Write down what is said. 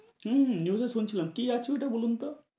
হম news এ শুনছিলাম। কি আছে ঐটা বলুন তো।